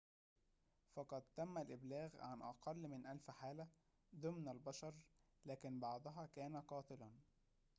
فقد تم الإبلاغ عن أقل من ألف حالة ضمن البشر لكن بعضها كان قاتلاً